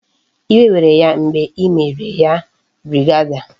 Iwe were ya mgbe e mere ya brigadier